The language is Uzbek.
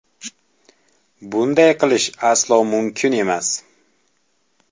Bunday qilish aslo mumkin emas.